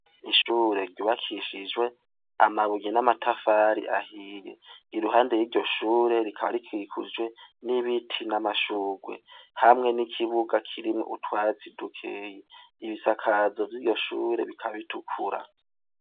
Ishure rubakishijwe amabuye n'amatafari ahiye iruhande y'iryo shure rikaba rikwikujwe n'ibiti n'amashurwe hamwe n'ikibuga kirimwe utwatsi dukeye ibisakazo vy'iryo shure bikabitukura.